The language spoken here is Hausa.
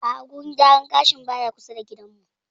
A'a wurin gyaran gashin baya kusa da gidan mu